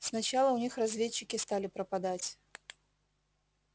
сначала у них разведчики стали пропадать